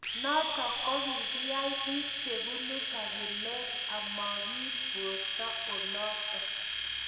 Notok kokiai bik chebunu kabilat amakiib borto olotoo